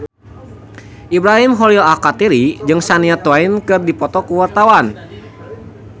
Ibrahim Khalil Alkatiri jeung Shania Twain keur dipoto ku wartawan